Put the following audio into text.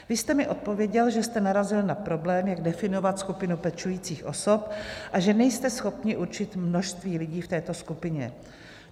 Vy jste mi odpověděl, že jste narazil na problém, jak definovat skupinu pečujících osob, a že nejste schopni určit množství lidí v této skupině.